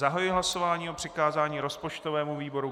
Zahajuji hlasování o přikázání rozpočtovému výboru.